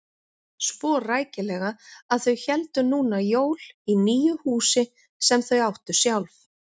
Svo rækilega að þau héldu núna jól í nýju húsi sem þau áttu sjálf.